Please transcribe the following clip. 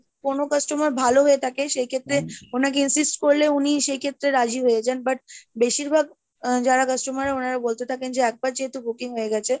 কোনো customer ভালো হয়ে থাকে, সেই ক্ষেত্রে ওনাকে insist করলে উনি সেই ক্ষেত্রে রাজি হয়ে যান but বেশির ভাগ যারা customer ওনারা বলতে থাকেন, যে একবার যেহেতু booking হয়ে গেছে।